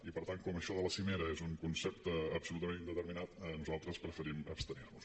i per tant com això de la cimera és un concepte absolutament indeterminat nosaltres preferim abstenir nos